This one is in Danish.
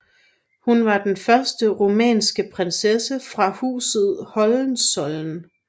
Hun var den første rumænske prinsesse fra Huset Hohenzollern